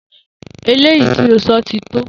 Eléyìi tó o so̩ ti tó!